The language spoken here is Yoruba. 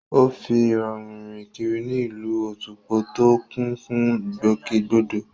Ó fi ìrọ̀rùn rìn kiri ní ìlú Otukpo tó kún fún ìgbòkègbodò